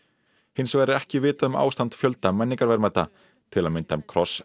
hins vegar er ekki vitað um ástand fjölda menningarverðmæta til að mynda um kross